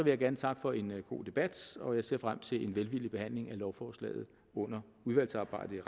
jeg gerne takke for en god debat og jeg ser frem til en velvillig behandling af lovforslaget under udvalgsarbejdet